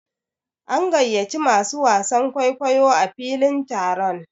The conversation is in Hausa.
An gayyaci masu wasan kwaikwayo a filin taron.